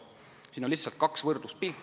Siin slaidil on esitatud kaks võrdluspilti.